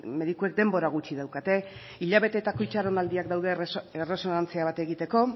medikuek denbora gutxi daukate hilabeteetako itxaronaldiak daude erresonantzia bat egiteko